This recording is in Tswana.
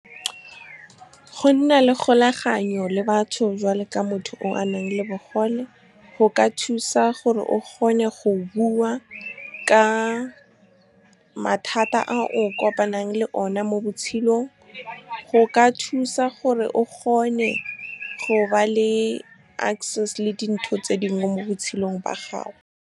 Go nna le kgolaganyo le batho jwalo ka motho o a nang le bogole, go ka thusa gore o kgone go bua ka mathata a o kopanang le one mo botshelong. Go ka thusa gore o kgone go ba le access le dintho tse dingwe mo botshelong ba gago. Go nna le kgolaganyo le batho jwalo ka motho o a nang le bogole, go ka thusa gore o kgone go bua ka mathata a o kopanang le one mo botshelong. Go ka thusa gore o kgone go ba le access le dintho tse dingwe mo botshelong ba gago.